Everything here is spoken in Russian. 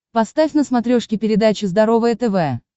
поставь на смотрешке передачу здоровое тв